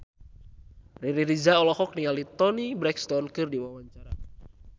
Riri Reza olohok ningali Toni Brexton keur diwawancara